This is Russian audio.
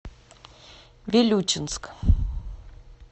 вилючинск